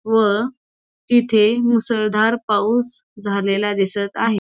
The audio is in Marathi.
व तिथे मुसळदार पाऊस झालेला दिसत आहे.